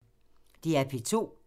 DR P2